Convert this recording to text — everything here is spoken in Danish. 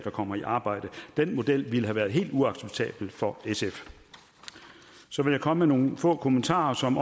kommer i arbejde den model ville have været helt uacceptabel for sf så vil jeg komme med nogle få kommentarer som